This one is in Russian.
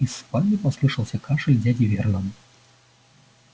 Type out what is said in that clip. из спальни послышался кашель дяди вернона